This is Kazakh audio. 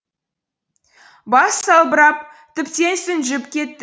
бас салбырап тіптен жүнжіп кетті